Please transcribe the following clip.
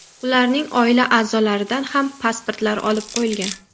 Ularning oila a’zolaridan ham pasportlar olib qo‘yilgan.